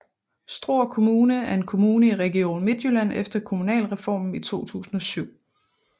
Struer Kommune er en kommune i Region Midtjylland efter Kommunalreformen i 2007